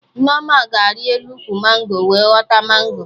Nneoma ga-ari elu ụkwụ mango wee ghọta mango